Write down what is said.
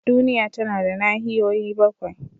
Duniya tana da nahiyoyi bakwai.